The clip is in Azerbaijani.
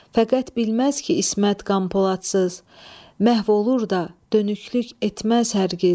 Fəqət bilməz ki, İsmət qan poladsız, məhv olur da, dönüklük etməz hər giz.